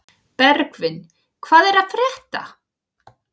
Bergvin, hvað er að frétta?